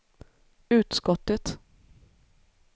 utskottet